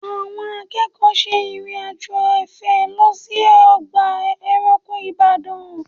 Àwọn akẹ́kọ̀ọ́ ṣe ìrìn-àjò afẹ́ lọ sí ọgbà ẹranko Ìbàdàn